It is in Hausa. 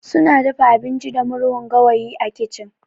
Suna dafa abinci da murhun gawayi a kicin